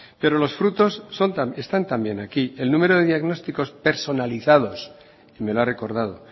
pero los frutos están también aquí el número de diagnósticos personalizados me lo ha recordado